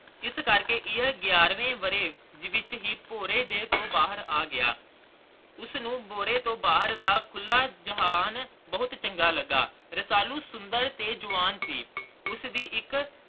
ਇਸ ਕਰਕੇ ਇਹ ਗਿਆਰਵੇਂ ਵਰੇ ਦੇ ਵਿਚ ਹੈ ਪੋਰੇ ਤੋਂ ਬਾਹਰ ਆ ਗਿਆ ਉਸਨੂੰ ਬੋਰੇ ਤੋਂ ਬਾਹਰ ਦਾ ਖੁਲ੍ਹਾ ਜਹਾਨ ਬਹੁਤ ਚੰਗਾ ਲੱਗਾ ਰਸਾਲੂ ਸੁੰਦਰ ਤੇ ਜਵਾਨ ਸੀ ਉਸਦੀ ਇਕ